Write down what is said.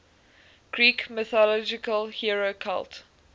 greek mythological hero cult